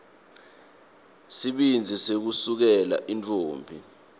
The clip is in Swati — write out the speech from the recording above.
sibindzi sekusukela intfombi